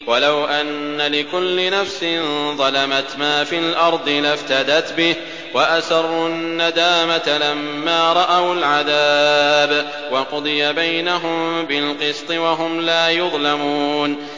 وَلَوْ أَنَّ لِكُلِّ نَفْسٍ ظَلَمَتْ مَا فِي الْأَرْضِ لَافْتَدَتْ بِهِ ۗ وَأَسَرُّوا النَّدَامَةَ لَمَّا رَأَوُا الْعَذَابَ ۖ وَقُضِيَ بَيْنَهُم بِالْقِسْطِ ۚ وَهُمْ لَا يُظْلَمُونَ